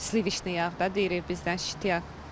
Sivişni yağ da deyirik bizdən şiti yağ.